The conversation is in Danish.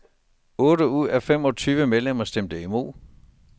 Otte ud af fem og tyve medlemmer stemte imod.